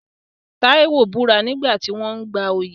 Taiwo búra nígbà tí wọ́n ń gba oyè.